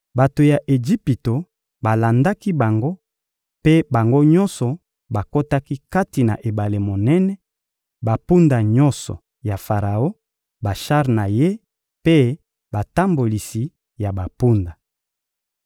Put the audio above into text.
Bato ya Ejipito balandaki bango mpe bango nyonso bakotaki kati na ebale monene: bampunda nyonso ya Faraon, bashar na ye mpe batambolisi ya bampunda.